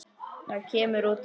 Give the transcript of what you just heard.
Það kemur út á eitt.